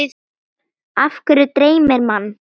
Af hverju dreymir mann?